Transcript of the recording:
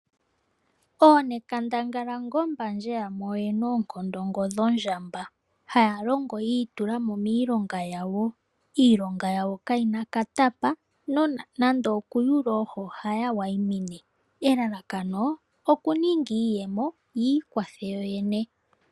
Oonenkandangala ngo mbandje yamwe oyena oonkondo ngo dho ndjamba. haya longo yii tulamo miilonga yawo, iilonga yawo kayina katapa nande okuyula oohi ohaya wayimine elalakono okuninga iiyemo yiikwathe yoyene.